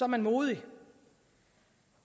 man modig